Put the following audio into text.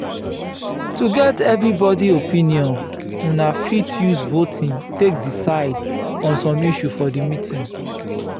to get evrybody opinion una fit use voting take diecide on some issue for di meeting